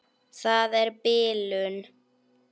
Það er bilun.